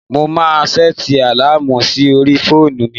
Mo máa sẹ́ẹ̀tì àláàmù sí orí fóònù mi.